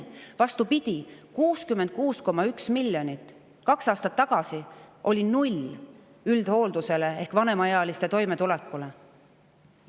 Vastupidi – 66,1 miljonit eurot, kaks aastat tagasi üldhooldusele ehk vanemaealiste toimetulekule 0 eurot.